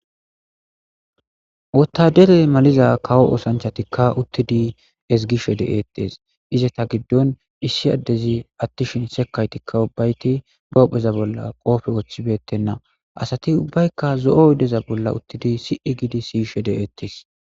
wotadere maliza kawo osanchatikka uttidi esgi she de7eettees iza ta giddon issi addezi attishin sekaytikka ubbayti boohpheza bolla qoofe woththibettenna asati ubbaykka zo7o yoddeza bolla uttidi si7e giidi siyshe de eettees